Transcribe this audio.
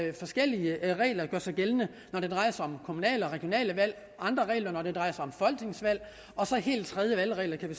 er forskellige regler der gør sig gældende når det drejer sig om kommunale og regionale valg og andre regler når det drejer sig om folketingsvalg og så helt tredje valgregler kan vi